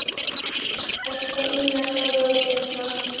Elsa, Ína, Þóra og Birna.